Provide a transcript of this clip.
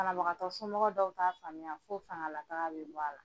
Banabagatɔ so dɔw t'a faamuya fo fangalataga bɛ bɔ a la.